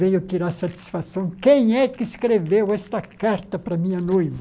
Veio tirar satisfação, quem é que escreveu esta carta para a minha noiva?